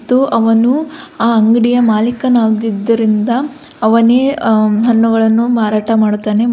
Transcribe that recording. ತ್ತು ಅವನು ಆ ಅಂಗಡಿಯ ಮಾಲಿಕನಾಗಿದ್ದರಿಂದ ಅವನೇ ಅ ಹನ್ನುಗಳನು ಮಾರಟ ಮಾಡುತ್ತಾನೆಂ.